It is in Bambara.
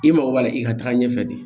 I mago b'a la i ka taa ɲɛfɛ de